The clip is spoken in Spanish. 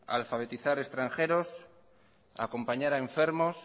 alfabetizar extranjeros a acompañar a enfermos